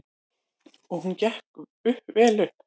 Og hún gekk vel upp.